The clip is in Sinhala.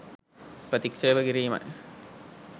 ප්‍රතික්ෂේප කිරීමයි